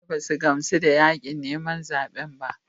Mutane ba su gamsu da yakin neman zaben ba.